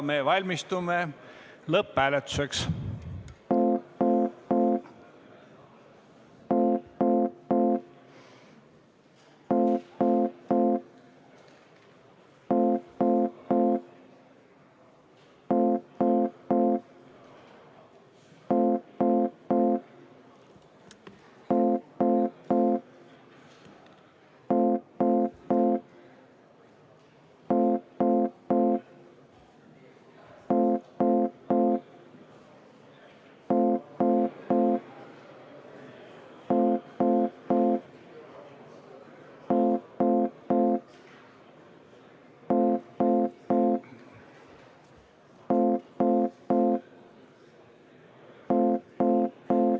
Me valmistume lõpphääletuseks.